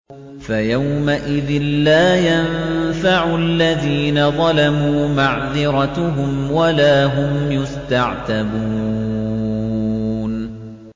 فَيَوْمَئِذٍ لَّا يَنفَعُ الَّذِينَ ظَلَمُوا مَعْذِرَتُهُمْ وَلَا هُمْ يُسْتَعْتَبُونَ